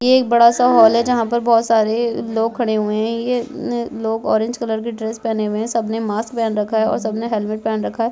ये एक बड़ा सा हॉल है जहाँ पर बोहोत सारे लोग खड़े हुए है ये लोग ऑरेंज कलर की ड्रेस पहने हुए है सब ने मास्क पहन रखा है और सबने हेलमेट पहन रखा है।